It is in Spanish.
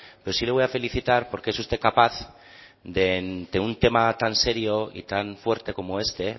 pero sí le voy a felicitar porque es usted capaz de un tema tan serio y tan fuerte como este